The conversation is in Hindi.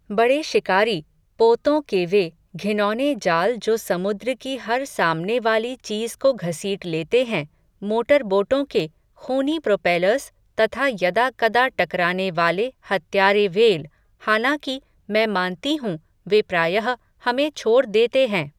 बड़े शिकारी, पोतों के वे, घिनौने जाल जो समुद्र की हर सामनेवाली चीज़ को घसीट लेते हैं, मोटरबोटों के, ख़ूनी प्रोपेलर्स, तथा यदा कदा टकरानेवाले हत्यारे व्हेल, हालांकि, मैं मानती हूँ, वे प्रायः, हमें छोड़ देते हैं